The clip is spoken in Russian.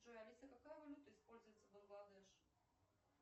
джой алиса какая валюта используется в бангладеш